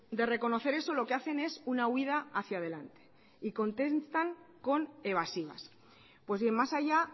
de reconocer eso lo que hacen es una huida hacia adelante y contestan con evasivas pues bien más allá